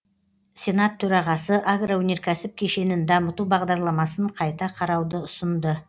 сенат төрағасы агроөнеркәсіп кешенін дамыту бағдарламасын қайта қарауды ұсынды